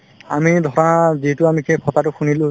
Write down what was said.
আমি ধৰা যিহেতু আমি সেই কথাটো শুনিলো